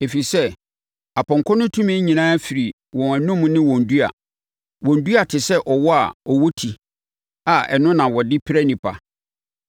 Ɛfiri sɛ, na apɔnkɔ no tumi nyinaa firi wɔn anom ne wɔn dua. Wɔn dua te sɛ awɔ a wɔwɔ ti a ɛno na na wɔde pira nnipa.